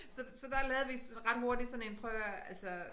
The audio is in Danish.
Så så der lavede vi ret hurtigt sådan en prøv at hør her altså